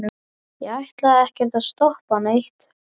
ég ætlaði ekkert að stoppa neitt.